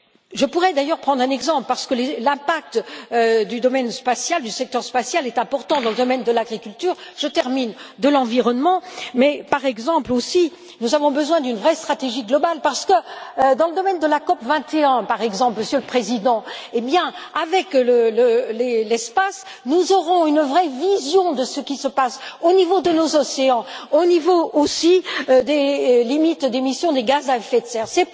Je pourrais d'ailleurs prendre un exemple, parce que l'impact du domaine spatial, du secteur spatial est important dans le domaine de l'agriculture je termine de l'environnement, mais par exemple aussi, nous avons besoin d'une vraie stratégie globale parce que, dans le domaine de la COP 21 par exemple, Monsieur le Président, eh bien avec l'espace, nous aurons une vraie vision de ce qui se passe au niveau de nos océans, au niveau aussi des limites d'émission des gaz à effet de serre.